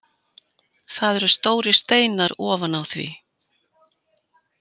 Það eru stórir steinar ofan á því.